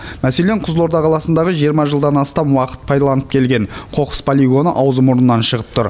мәселен қызылорда қаласындағы жиырма жылдан астам уақыт пайдаланып келген қоқыс полигоны аузы мұрнынан шығып тұр